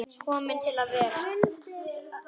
Komin til að vera?